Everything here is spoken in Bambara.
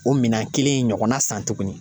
O minɛn kelen in ɲɔgɔnna san tugunni.